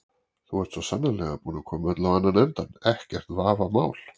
Þú ert svo sannarlega búinn að koma öllu á annan endann, ekkert vafamál.